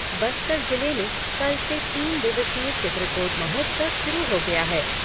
बस्तर जिले में कल से तीन दिवसीय चित्रकोट महोत्सव शुरू हो गया है।